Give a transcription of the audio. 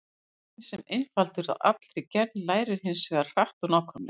Drekinn, sem er einfaldur að allri gerð, lærir hins vegar hratt og nákvæmlega.